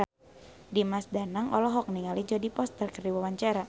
Dimas Danang olohok ningali Jodie Foster keur diwawancara